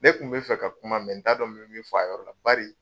Ne kun bɛ fɛ ka kuma mɛ n t'a dɔn n be min fɔ a yɔrɔ la bari